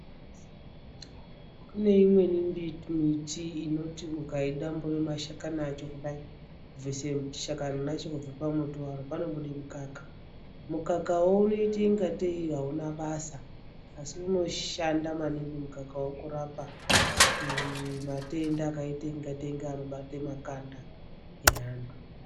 Kune imweni mbiti miti inoti ukai dambura mashakani acho kudai kubvise shakani racho kubve pa muti waro pano bude mukaka mukaka woo unoite kungatee auna basa asi unoshanda maningi mukakawo kurapa matenda akaita kungatee ngeano bata makanda e antu.